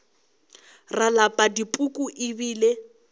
ra lapa dipuku e bile